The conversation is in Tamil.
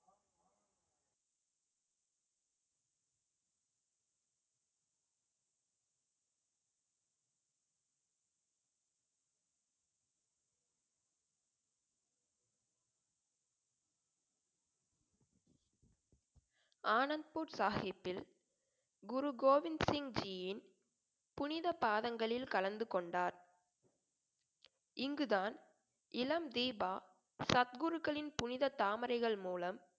ஆனந்த் பூட் சாஹிப்பில் குரு கோவிந்த் சிங்ஜியின் புனித பாதங்களில் கலந்து கொண்டார் இங்குதான் இளம் தீபா சத்குருக்களின் புனித தாமரைகள் மூலம்